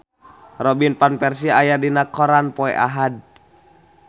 Robin Van Persie aya dina koran poe Ahad